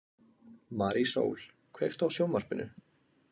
Marísól, kveiktu á sjónvarpinu.